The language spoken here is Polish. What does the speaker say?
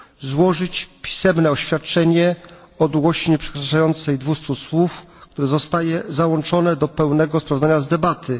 złożyć pisemne oświadczenie o długości nieprzekraczającej 200 słów, które zostaje załączone do pełnego sprawozdania z debaty.